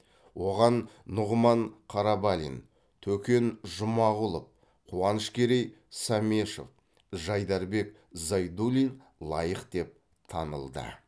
оған нұғман қарабалин төкен жұмағұлов қуанышкерей самешов жайдарбек зайдуллин лайық деп танылды